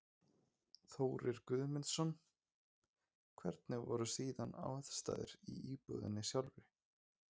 Þórir Guðmundsson: Hvernig voru síðan aðstæður í íbúðinni sjálfri?